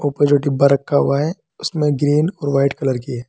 ऊपर जो डिब्बा रखा हुआ है उसमें ग्रीन और वाइट कलर की है।